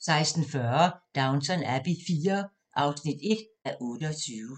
16:40: Downton Abbey IV (1:28)